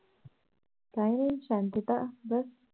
काही नाही शांतता बस